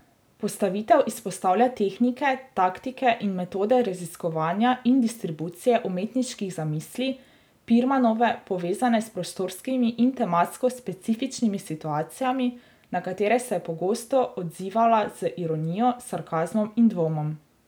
Postavitev izpostavlja tehnike, taktike in metode raziskovanja in distribucije umetniških zamisli Pirmanove, povezane s prostorskimi in tematsko specifičnimi situacijami, na katere se je pogosto odzivala z ironijo, sarkazmom in dvomom.